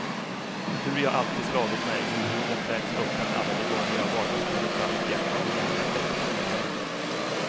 Hur jag alltid slagit mig, hur huden fläkts öppen alla de gånger jag varsamt burit fram mitt hjärta och lämnat det åt lejonen.